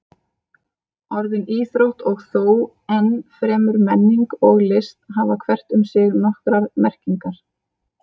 Orðin íþrótt og þó enn fremur menning og list hafa hvert um sig nokkrar merkingar.